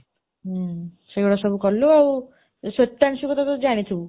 ହଁ, ସେଇ ଗୁଡା ସବୁ କଲୁ ଆଉ ଶ୍ୱେତାଂଶୀ କୁ ତୁ ଜାଣିଥିବୁ,